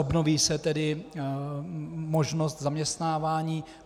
Obnoví se tedy možnost zaměstnávání.